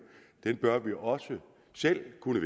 bør vi også selv kunne